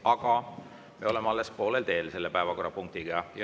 Aga me oleme selle päevakorrapunktiga alles poolel teel.